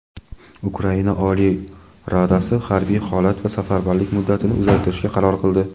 Ukraina Oliy Radasi harbiy holat va safarbarlik muddatini uzaytirishga qaror qildi.